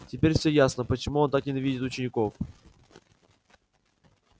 теперь все ясно почему он так ненавидит учеников